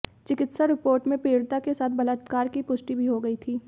चिाकित्सा report में पीड़िता के साथ बलात्कार की पुष्टि भी हो गई थी